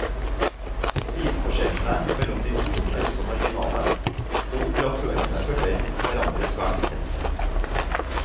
Prisforskjellene mellom de to er også marginale, og operatørene følger hverandre svært tett.